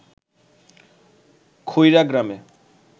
খইরা গ্রামে